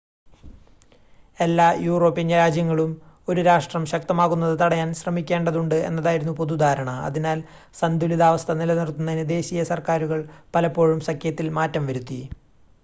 എല്ലാ യൂറോപ്യൻ രാജ്യങ്ങളും ഒരു രാഷ്ട്രം ശക്തമാകുന്നത് തടയാൻ ശ്രമിക്കേണ്ടതുണ്ട് എന്നതായിരുന്നു പൊതുധാരണ, അതിനാൽ സന്തുലിതാവസ്ഥ നിലനിർത്തുന്നതിന് ദേശീയ സർക്കാരുകൾ പലപ്പോഴും സഖ്യത്തിൽ മാറ്റം വരുത്തി